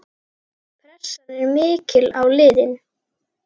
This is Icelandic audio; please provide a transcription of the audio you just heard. Pressan er mikil á liðið.